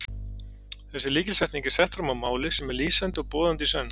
Þessi lykilsetning er sett fram á máli sem er lýsandi og boðandi í senn.